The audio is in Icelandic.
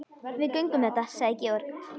Við göngum þetta sagði Georg.